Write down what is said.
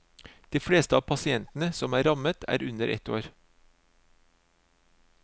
De fleste av pasientene som er rammet, er under ett år.